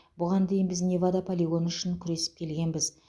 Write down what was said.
бұған дейін біз невада полигоны үшін күресіп келгенбіз